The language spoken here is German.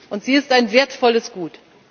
Und sie ist ein wertvolles Gut.